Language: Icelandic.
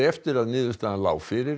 eftir að niðurstaðan lá fyrir